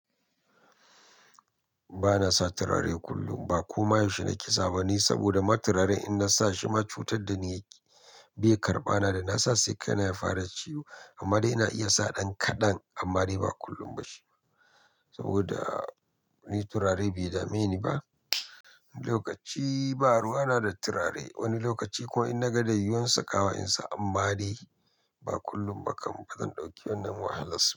Ba na sa turare kullum, ba koma yaushe na ke sawa ba ni saboda ma turare in na sa shi ma cutar da ni yake, bai karɓa na da na sa sai kai na ya fara ciwo. Amma dai ina iya sa ɗan kaɗan amma dai ba kullum ba shi. Saboda ni turare bai dame ni ba. Wani lokaci baru wana da turare, wani lokaci ko in na ga da yiyuwan sakawa in sa, amma dai ba kullum ba kam. Ba zan ɗauki wannan wahalas.